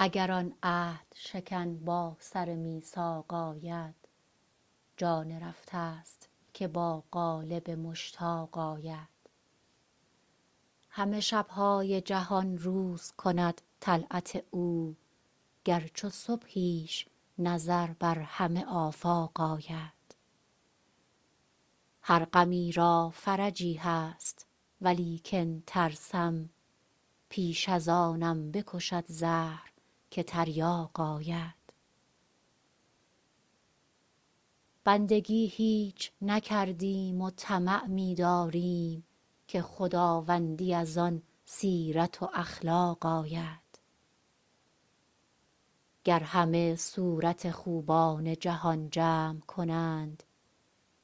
اگر آن عهدشکن با سر میثاق آید جان رفته ست که با قالب مشتاق آید همه شب های جهان روز کند طلعت او گر چو صبحیش نظر بر همه آفاق آید هر غمی را فرجی هست ولیکن ترسم پیش از آنم بکشد زهر که تریاق آید بندگی هیچ نکردیم و طمع می داریم که خداوندی از آن سیرت و اخلاق آید گر همه صورت خوبان جهان جمع کنند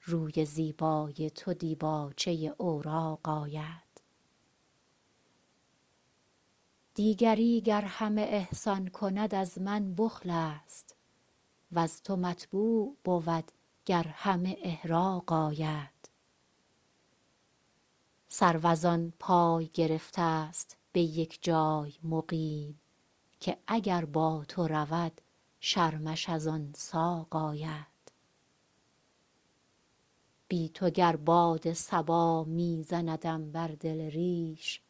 روی زیبای تو دیباچه اوراق آید دیگری گر همه احسان کند از من بخل است وز تو مطبوع بود گر همه احراق آید سرو از آن پای گرفته ست به یک جای مقیم که اگر با تو رود شرمش از آن ساق آید بی تو گر باد صبا می زندم بر دل ریش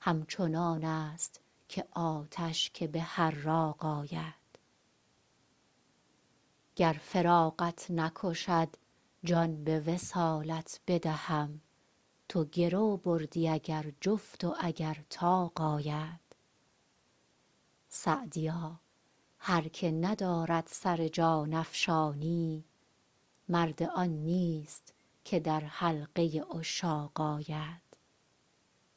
همچنان است که آتش که به حراق آید گر فراقت نکشد جان به وصالت بدهم تو گرو بردی اگر جفت و اگر طاق آید سعدیا هر که ندارد سر جان افشانی مرد آن نیست که در حلقه عشاق آید